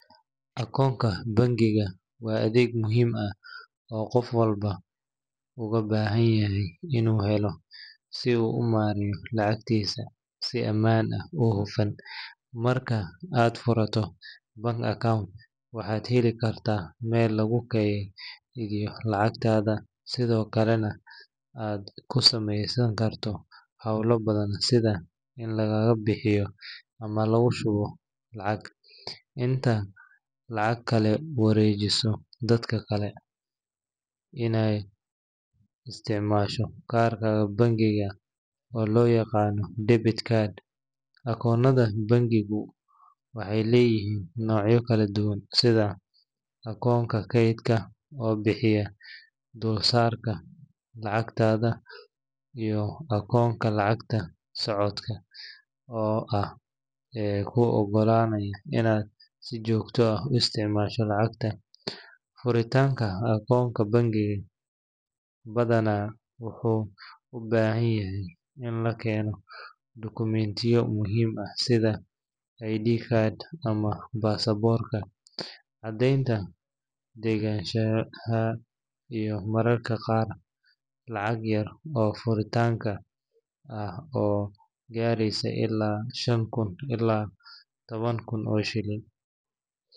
Akoonka bangiga waa adeeg muhiim ah oo qof walba uga baahan yahay inuu helo si uu u maareeyo lacagtiisa si ammaan ah oo hufan. Marka aad furato bank account, waxaad heli kartaa meel lagu keydiyo lacagtaada, sidoo kalena aad ku samayn karto hawlo badan sida in lagaa bixiyo ama lagu shubo lacag, inaad lacag kala wareejiso dadka kale, iyo inaad isticmaasho kaarka bangiga oo loo yaqaan debit card. Akoonada bangigu waxay leeyihiin noocyo kala duwan, sida akoonka keydka oo bixiya dulsaarka lacagtaada, iyo akoonka lacagta socodka ah ee kuu oggolaanaya inaad si joogto ah u isticmaasho lacagta. Furitaanka akoonka bangiga badanaa wuxuu u baahan yahay in la keeno dukumiintiyo muhiim ah sida ID card ama baasaboorka, caddeynta deganaanshaha, iyo mararka qaar, lacag yar oo furitaanka ah oo gaareysa ilaa shan kun ilaa toban kun oo shilin.